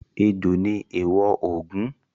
Ejò ni èèwọ̀ Ògún.